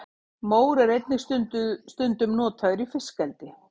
mór er einnig stundum notaður í fiskeldi